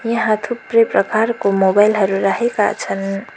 यहाँ थुप्रै प्रकारको मोबाइल हरू राखेका छन्।